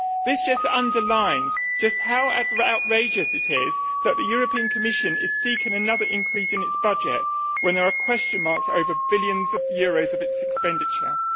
This just underlines how outrageous it is that the European Commission is seeking another increase in its budget when there are question marks over billions of euros of its expenditure.